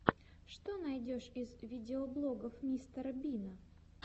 что найдешь из видеоблогов мистера бина